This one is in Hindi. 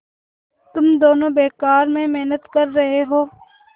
तुम दोनों बेकार में मेहनत कर रहे हो